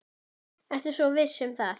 Ertu svo viss um það?